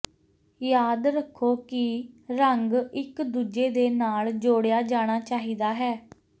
ਯਾਦ ਰੱਖੋ ਕਿ ਰੰਗ ਇਕ ਦੂਜੇ ਦੇ ਨਾਲ ਜੋੜਿਆ ਜਾਣਾ ਚਾਹੀਦਾ ਹੈ